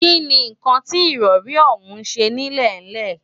kí ni nǹkan tí ìrọrí ọ̀hún ń ṣe nílẹ̀ńlẹ̀?